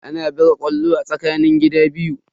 Ana buga ƙwallo ne a tsakanin gida biyu.